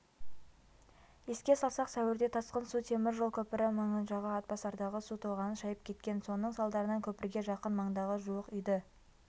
еске салсақ сәуірде тасқын су темір жол көпірі маңынжағы атбасардағы су тоғанын шайып кеткен соның салдарынан көпірге жақын маңдағы жуық үйді